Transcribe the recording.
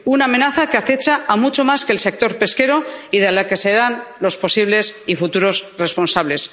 Una amenaza que acecha a mucho más que al sector pesquero y de la que serán los posibles y futuros responsables.